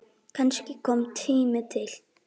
Og kannski kominn tími til.